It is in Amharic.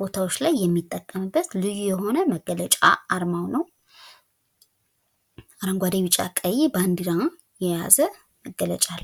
ቦታዎች ላይ የሚጠቀምበት ልዩ የሆነ መገለጫ አርማው ነው። አረጓዴ ቢጫ ቀይ ባዲራ የያዘ መገለጫ አለው።